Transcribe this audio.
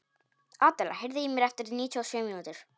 Adela, heyrðu í mér eftir níutíu og sjö mínútur.